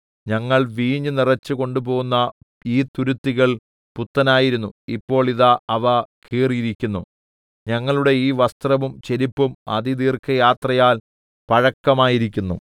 ഞങ്ങൾ വീഞ്ഞു നിറച്ച് കൊണ്ടുപോന്ന ഈ തുരുത്തികൾ പുത്തനായിരുന്നു ഇപ്പോൾ ഇതാ അവ കീറിയിരിക്കുന്നു ഞങ്ങളുടെ ഈ വസ്ത്രവും ചെരിപ്പും അതിദീർഘയാത്രയാൽ പഴക്കമായിരിക്കുന്നു